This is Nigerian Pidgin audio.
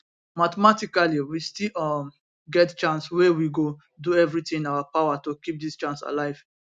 mathematically we still um get chance wey we go do everitin in our power to keep dis chance alive